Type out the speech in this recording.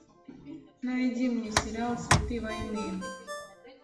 найди мне сериал цветы войны